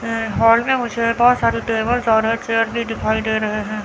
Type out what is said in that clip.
हाल में मुझे बहोत सारी टेबल्स और एक चेयर भी दिखाई दे रहे हैं।